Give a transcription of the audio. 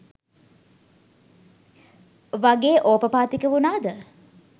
වගේ ඕපපාතික වුනාද?